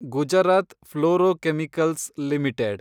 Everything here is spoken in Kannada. Gujarat fluorochemicals limited